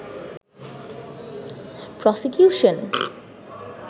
prosecution